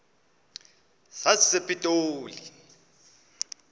sasepitoli